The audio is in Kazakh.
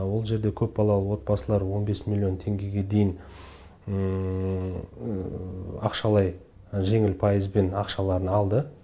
ол жерде көпбалалы отбасылар он бес миллион теңгеге дейін ақшалай жеңіл пайызбен ақшаларын алды